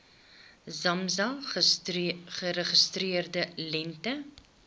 samsa geregistreerde lengte